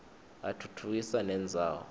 atfutfukisa nendzawo